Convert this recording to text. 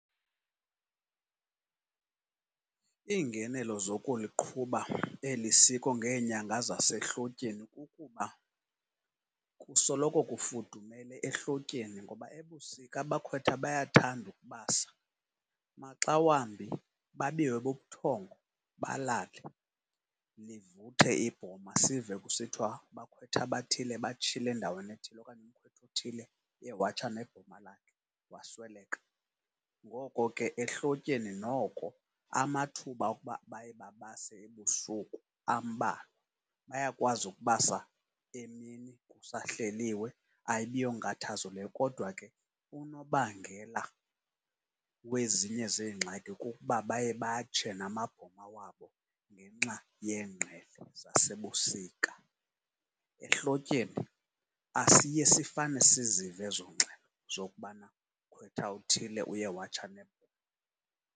Iingenelo zokuliqhuba eli siko ngeenyanga zasehlotyeni kukuba kusoloko kufudumele ehlotyeni, ngoba ebusika abakhwetha bayathanda ukubasa. Maxa wambi babiwe bubuthongo balale, livuthe ibhoma sive kusithiwa abakhwetha abathile batshile endaweni ethile okanye umkhwetha othile uye watsha nebhoma lakhe wasweleka. Ngoko ke, ehlotyeni noko amathuba okuba baye babase ebusuku ambalwa, bayakwazi ukubasa emini kusahleliwe ayibi yonkathazo leyo, kodwa ke unobangela wezinye zeengxaki kukuba baye batshe namabhoma wabo ngenxa yeengqele zasebusika. Ehlotyeni asiye sifane sizive ezo ngxelo, zokubana umkhwetha othile uye watsha nebhoma.